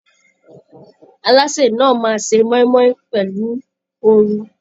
Alásè náà máa se moimoi pẹlu oru.